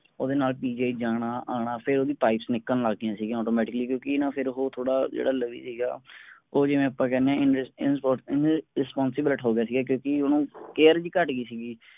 ਓਹਦੇ ਨਾਲ PGI ਆਣਾ ਜਾਣਾ ਫੇਰ ਓਹਦੀ pipes ਨਿਕਲਣ ਲੱਗ ਗਈਆਂ ਸਿਗਿਆ automatically ਕਿਉਂਕਿ ਨਾ ਫੇਰ ਓਹੋ ਥੋੜਾ ਜਿਹੜਾ ਲਵੀ ਸੀਗਾ ਉਹ ਜਿਵੇਂ ਆਪਾਂ ਕਹਿੰਦੇ ਆਂ inspot~inresponsible ਹੋਗਿਆ ਸੀਗਾ ਕਿਉਂਕਿ ਓਹਨੂੰ care ਵੀ ਘਟ ਗਈ ਸੀਗੀ।